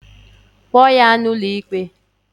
Kpoo ya n'ụlọikpe!